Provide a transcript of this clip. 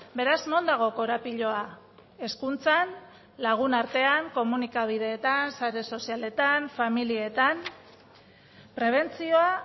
beraz non dago korapiloa hezkuntzan lagun artean komunikabideetan sare sozialetan familietan prebentzioa